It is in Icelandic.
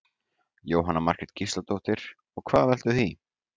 Jóhanna Margrét Gísladóttir: Og hvað veldur því?